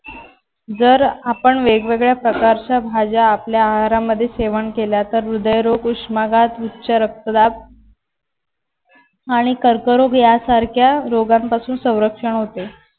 जर आपण वेगवेगळ्या प्रकारच्या भाज्या आपल्या आहारामध्ये सेवन केल्या तर हृदयरोग उष्माघात उच्च रक्तदाब आणि कर्करोग यासारख्या रोगांपासून संरक्षण होते.